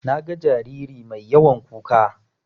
Naga jariri mai yawan kuka.